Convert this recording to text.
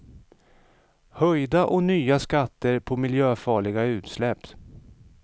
Höjda och nya skatter på miljöfarliga utsläpp.